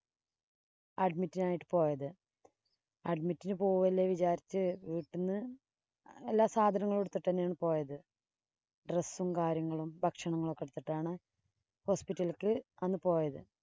admit നായിട്ടു പോയത്. Admit ഇനു പോവുവല്ലേ വിചാരിച്ചു വീട്ടിന്ന് എല്ലാ സാധനങ്ങളും എടുത്തിട്ടു തന്നെയാണ് പോയത് dress ഉം, കാര്യങ്ങളും ഭക്ഷണങ്ങളും ഒക്കെ എടുത്തിട്ടാണ് hospital ഇലേക്ക് അന്ന് പോയത്.